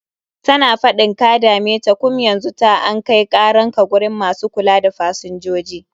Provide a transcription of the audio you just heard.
Tana faɗin ka dame ta, kum yanzu ta an kai karan ka gurin masu kula da fasinjoji.